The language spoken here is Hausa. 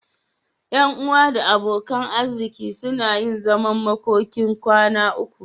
Ƴan uwa da abokan arziki suna yin zaman makokin kwana uku.